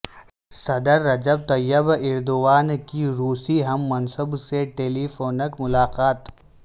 صدر Recep Tayyip Erdogan کی روسی ہم منصب سے ٹیلی فونک ملاقات